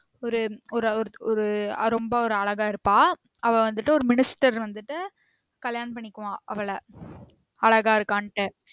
ஒரு ஒரு ஒரு ரொம்ப ஒரு அழகா இருப்பா அவ வந்திட்டு ஒரு minister வந்திட்டு கல்யாணம் பண்ணிக்குவான் அவல அழகா இருக்கான்ட்டு